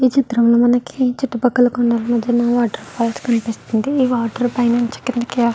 ఈ చిత్రం లో మనకి చుట్టుపక్కల కొండల మద్యన వాటర్ఫాల్ల్స్ కనిపిస్తుంది ఈ వాటర్ నుంచి కిందకి --